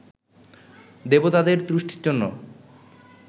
দেবতাদের তুষ্টির জন্য